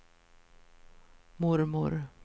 mormor